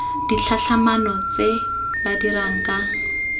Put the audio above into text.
ditlhatlhamano tse ba dirang ka